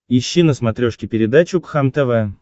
ищи на смотрешке передачу кхлм тв